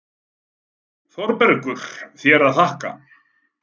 ÞÓRBERGUR: Þér að þakka!